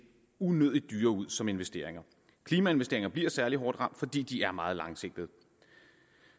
unødigt dyre ud som investeringer klimainvesteringer bliver særlig hårdt ramt fordi de er meget langsigtede